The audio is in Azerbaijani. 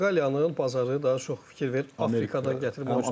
Portuqaliyanın bazarı daha çox fikir ver, Afrikadan gətirmə.